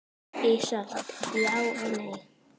Ísold: Já og nei.